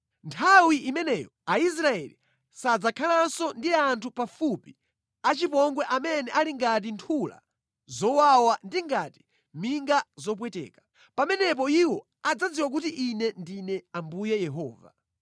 “ ‘Nthawi imeneyo Aisraeli sadzakhalanso ndi anthu pafupi achipongwe amene ali ngati nthula zowawa ndi ngati minga zopweteka. Pamenepo iwo adzadziwa kuti Ine ndine Ambuye Yehova.